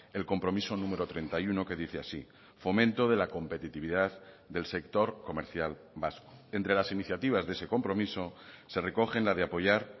el compromiso número treinta y uno que dice así fomento de la competitividad del sector comercial vasco entre las iniciativas de ese compromiso se recogen la de apoyar